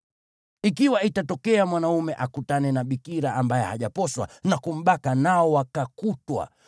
Ikiwa itatokea mwanaume akutane na bikira ambaye hajaposwa na kumbaka nao wakakutwa,